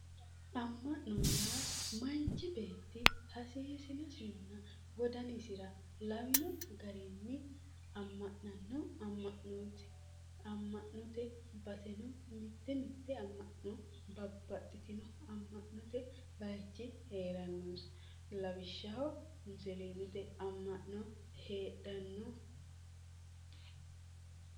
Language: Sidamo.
Ama'no yaa manchi beetti hasiisinosinna wodanisi lawino garini ama'nano ama'noti, ama'note baseno mite mite ama'no babbaxitino ama'note bayichi heeranonsa lawishshaho musilimete ama'no heedhano.